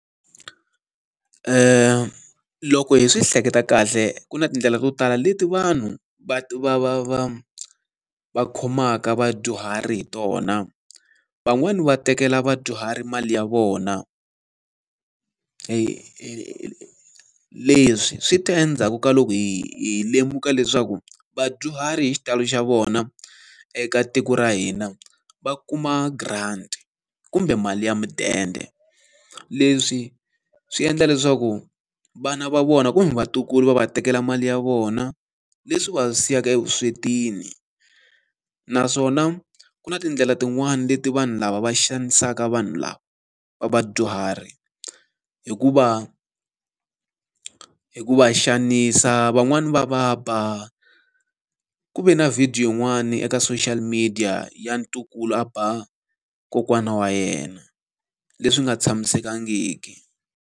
Loko hi swi hleketa kahle ku na tindlela to tala leti vanhu va va va va va khomaka vadyuhari hi tona. Van'wani va tekela vadyuhari mali ya vona, leswi swi ta endzhaku ka loko hi hi lemuka leswaku vadyuhari hi xitalo xa vona eka tiko ra hina va kuma grant kumbe mali ya mudende. Leswi swi endla leswaku vana va vona kumbe vatukulu va va tekela mali ya vona, leswi va siyaka evuswetini. Naswona ku na tindlela tin'wani leti vanhu lava va xanisaka vanhu lava va vadyuhari hi ku va, hi ku va xanisa, van'wani va va ba. Ku ve na video yin'wani eka social media ya ntukulu a ba kokwana wa yena, leswi nga tshamisekangiki.